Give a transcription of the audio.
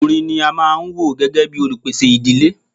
Ọkùnrin ní a máà wò gbẹ́gẹ́ bìí olupèsè ìdílé.